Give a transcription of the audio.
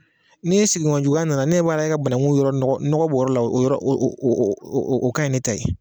N'i sigiɲɔgɔn juguya nana, ne ɲɛ b'a la,e ka banakun yɔrɔ la, nɔgɔ b'a la o ka ɲin ne ta ye.